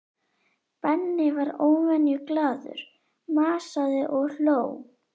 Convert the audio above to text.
Benni var óvenju glaðlegur, masaði og hló.